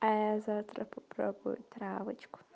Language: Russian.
а я завтра попробую травочку